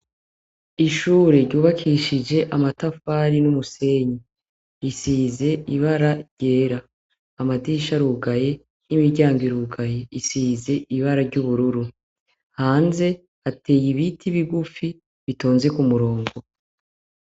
Ishure ryubakishije amatafari n'umusenyi, isize ibara ryera, amadisha rugaye y'imiryango irugaye isize ibara ry'ubururu, hanze ateye ibiti bigufi bitonze ku murongo.